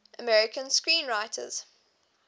american screenwriters